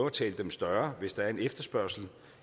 at tale dem større hvis der er en efterspørgsel